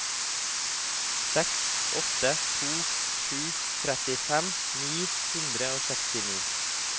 seks åtte to sju trettifem ni hundre og sekstini